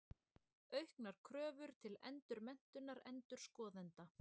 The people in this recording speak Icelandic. Auknar kröfur til endurmenntunar endurskoðenda.